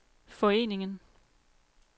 foreningen